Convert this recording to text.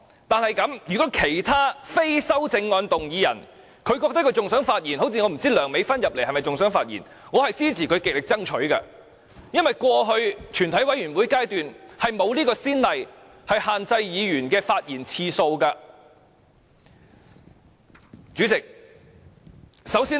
但是，如果其他非修正案動議人還想發言，例如梁美芬議員還想發言，我支持她極力爭取，因為過去在全體委員會審議階段並無限制議員發言次數的先例。